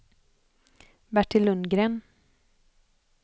Bertil Lundgren